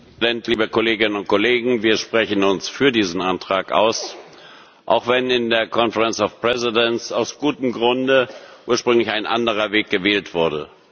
Herr Präsident, liebe Kolleginnen und Kollegen! Wir sprechen uns für diesen Antrag aus, auch wenn in der Konferenz der Präsidenten aus gutem Grunde ursprünglich ein anderer Weg gewählt wurde.